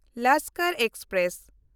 Lashkar express